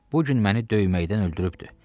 Bu gün məni döyməkdən öldürübdü.